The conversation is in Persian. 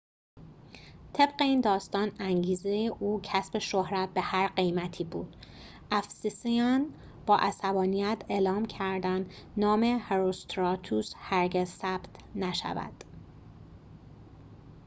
طبق این داستان انگیزه او کسب شهرت به هر قیمتی بود افسسیان با عصبانیت اعلام کردند نام هروستراتوس هرگز ثبت نشود